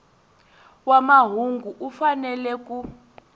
wa mahungu u fanele ku